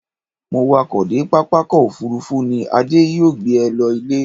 Mo wakọ̀ dé pápákọ̀ òfurufú ni, Adé yóò gbé e lọ ilé.